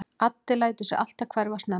Addi lætur sig alltaf hverfa snemma.